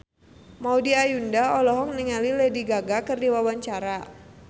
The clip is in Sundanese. Maudy Ayunda olohok ningali Lady Gaga keur diwawancara